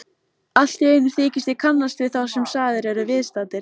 Alltíeinu þykist ég kannast við þá sem sagðir eru viðstaddir.